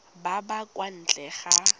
ba ba kwa ntle ga